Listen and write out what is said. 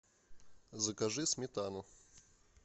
закажи сметану